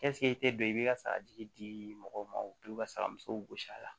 i tɛ don i bɛ ka saraji di mɔgɔw ma u bɛ sara musow gosi a la